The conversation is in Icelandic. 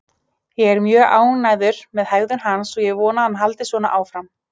Ég er mjög ánægður með hegðun hans og ég vona að hann haldi svona áfram